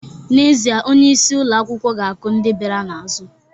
N'ezie, onyeisi ụlọ akwụkwọ ga-akụ ndị bịara n'azụ